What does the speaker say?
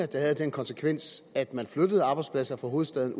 den havde den konsekvens at man flyttede arbejdspladser fra hovedstaden